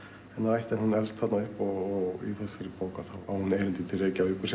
ætt en hún elst þarna upp og í þessari bók þá á hún erindi til Reykjavíkur